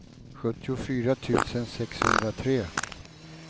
sjuttiofyra tusen sexhundratre